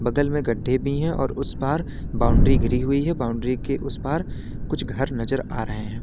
बगल में गड्ढे भी हैं और उस पार बाउंड्री घिरी हुई है बाउंड्री के उस पार कुछ घर नजर आ रहे हैं।